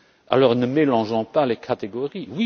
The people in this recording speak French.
Alors, ne mélangeons pas les catégories.